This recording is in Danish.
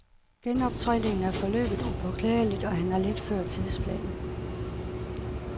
Genoptræningen er forløbet upåklageligt, og han er lidt før tidsplanen.